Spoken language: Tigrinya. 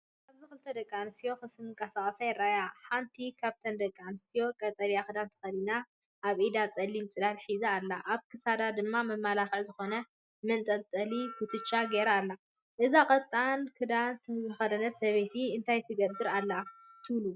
ኣብዚ ክልተ ደቂ ኣንስትዮ ክንቀሳቐሳ ይረኣያ። ሓንቲ ካብተን ደቂ ኣንስትዮ ቀጠልያ ክዳን ተኸዲና፡ ኣብ ኢዳ ጸሊም ጽላል ሒዛ ኣላ። ኣብ ክሳዳ ድማ መማለክዒ ዝኾነ መንጠልጠሊ ኩትቻ ገይራ ኣላ። እዛ ቀጠልያ ክዳን ዝተከደነት ሰበይቲ እንታይ ትገብርናበይ ኣላ ትብሉ?